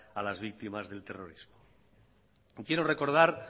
a las víctimas del terrorismo quiero recordar